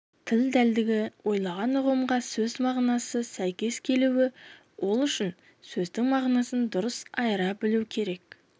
тіл дәлдігі ойлаған ұғымға сөз мағынасы сәйкес келуі ол үшін сөздің мағынасын дұрыс айыра білу керек